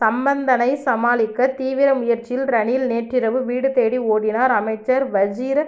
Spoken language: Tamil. சம்பந்தனைச் சமாளிக்க தீவிர முயற்சியில் ரணில் நேற்றிரவு வீடு தேடி ஓடினார் அமைச்சர் வஜிர